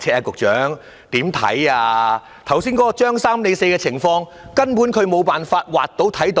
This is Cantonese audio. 剛才"張三李四"的情況，他們根本無法看到。